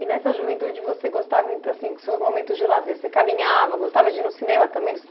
E nessa juventude você gostava ent, assim, com seus momentos de lazer, você caminhava, gostava de ir no cinema também, no